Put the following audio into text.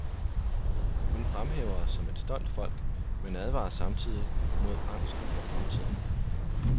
Hun fremhæver os som et stolt folk, men advarer samtidig mod angsten for fremtiden.